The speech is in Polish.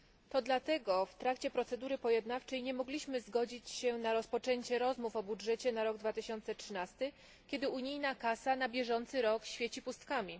To dlatego w trakcie procedury pojednawczej nie mogliśmy zgodzić się na rozpoczęcie rozmów o budżecie na rok 2013, kiedy unijna kasa na bieżący rok świeci pustkami.